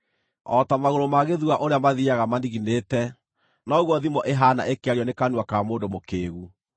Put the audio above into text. O ta magũrũ ma gĩthua ũrĩa mathiiaga maniginĩte, noguo thimo ĩhaana ĩkĩario nĩ kanua ka mũndũ mũkĩĩgu.